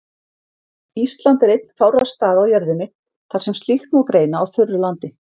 Ísland er einn fárra staða á jörðinni þar sem slíkt má greina á þurru landi.